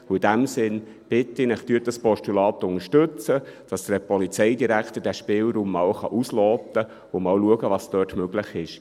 In diesem Sinne bitte ich Sie: Unterstützen Sie dieses Postulat, damit der Polizeidirektor diesen Spielraum einmal ausloten und schauen kann, was dort möglich ist.